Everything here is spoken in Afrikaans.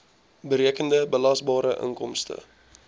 berekende belasbare inkomste